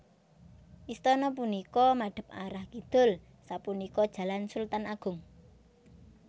Istana punika madhep arah kidul sapunika Jalan Sultan Agung